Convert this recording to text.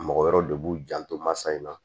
Mɔgɔ wɛrɛ de b'u janto masa in na